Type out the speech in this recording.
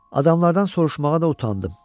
Adamlardan soruşmağa da utandım.